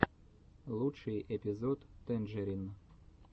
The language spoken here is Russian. лучший эпизод тэнджерин